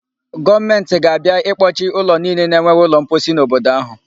Gọọmentị ga-abịa ịkpọchị ụlọ niile na-enweghị ụlọmposi n'obodo áhụ.